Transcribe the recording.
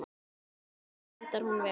Gunnar Atli: Endar hún vel?